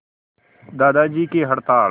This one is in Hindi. दादाजी की हड़ताल